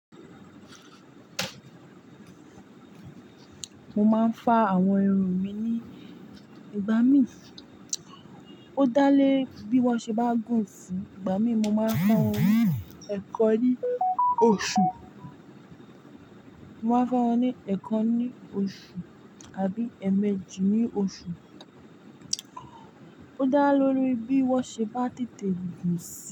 Mo máa ń fá àwọn irun mi ní ìgbà mí. Ó dá lé bí wọ́n ṣe bá gùn sí. Ìgbà mí mo máa ń fá irun ẹ̀ kan ní oṣù. Mo máa ń fá irun ní ẹ̀ kan ní oṣù àbí ẹ̀ẹ̀mejì ní oṣù. Ó dá lóríi bí wọ́n ṣe bá tètè gùn sí.